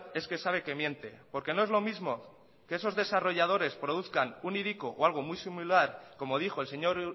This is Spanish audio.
es que sabe que miente porque no es lo mismo que esos desarrolladores produzcan un hiriko o algo muy similar como dijo el señor